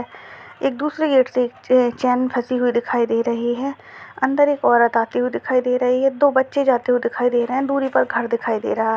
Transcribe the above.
एक दूसरे गेट से चैन फसी हुई दिखाई दे रही है अंदर एक औरत आते हुए दिखाई दे रही है दो बच्चे जाते हुए दिखाई दे रहे है दूरी पर घर दिखाई दे रहा है।